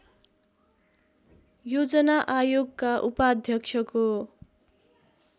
योजना आयोगका उपाध्यक्षको